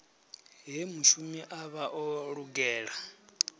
he mushumi avha o lugela